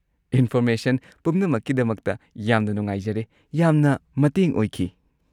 Information ꯄꯨꯝꯅꯃꯛꯀꯤꯗꯃꯛꯇ ꯌꯥꯝꯅ ꯅꯨꯡꯉꯥꯏꯖꯔꯦ, ꯌꯥꯝꯅ ꯃꯇꯦꯡ ꯑꯣꯏꯈꯤ꯫